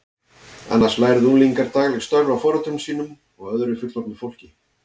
Annars lærðu unglingar dagleg störf af foreldrum sínum og öðru fullorðnu fólki.